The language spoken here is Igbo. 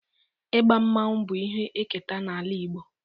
Igba mmanwu bụ ihe eketa n'ala Igbo